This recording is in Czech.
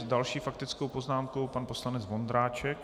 S další faktickou poznámkou pan poslanec Vondráček.